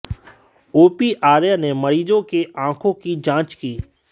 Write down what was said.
OP Arya ने मरीजों के आंखों की जांच की